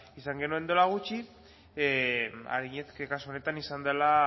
esan genuen duela gutxi ariñez kasu honetan izan dela